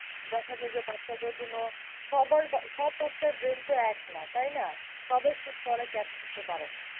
দেখা যায় যে বাচ্চাদের জন্য সবার সব বাচ্চার brain তো এক নয় তাই না? সবাই সব পড়া catch করতে পারে না।